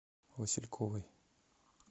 васильковой